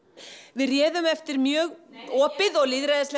við réðum eftir mjög opið og lýðræðislegt